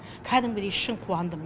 кәдімгідей шын қуандым